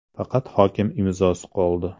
Faqat hokim imzosi qoldi.